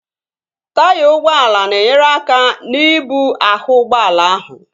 Taya ụgbọala na-enyere aka n'ibu ahụ ụgbọala ahụ